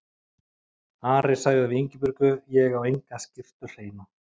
Ari sagði við Ingibjörgu:-Ég á enga skyrtu hreina.